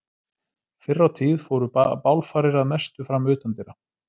Fyrr á tíð fóru bálfarir að mestu fram utandyra.